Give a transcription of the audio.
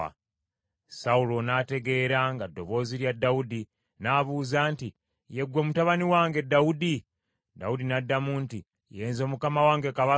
Sawulo n’ategeera nga ddoboozi lya Dawudi, n’abuuza nti, “Ye ggwe mutabani wange Dawudi?” Dawudi n’addamu nti, “Ye nze mukama wange kabaka.”